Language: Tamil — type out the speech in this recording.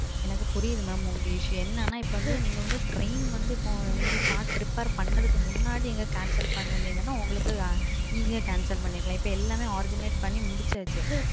எனக்கு புரியுது மாம் உங்க பிரச்சனை. இப்போ என்னன்னா இப்போ வந்து நீங்க வந்து ரயில் வந்து இப்போ சார்ட் பண்றதுக்கு முன்னாடி ரத்து பண்ணி இருந்தீங்கனா உங்களுக்கு சுலபமா ரத்து பாணி இருக்கலாம். இப்போ எல்லாமே ஏற்பாடு பண்ணி முடிச்சாச்சு.